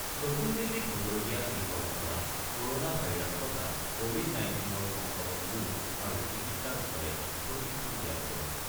নতুন দিল্লীত হ'বলগীয়া এই কৰ্মশালাত ক'ৰনা ভাইৰাছ তথা কৱিড-19ৰ সংক্ৰমণ ৰোধ আৰু চিকিৎসাৰ বিষয়ে প্ৰশিক্ষণ দিয়া হ'ব।